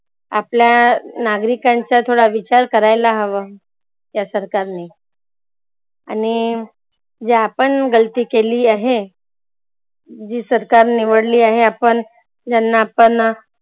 आपल्या नागरीकांचा थोडा विचार करायला हवा. या सरकारनी आणि जी आपण गलती केलेली आहे जी सरकार निवडलेली आहे आपण ज्यांना आपण